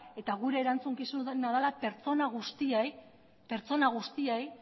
eta gure erantzukizuna dela pertsona guztiei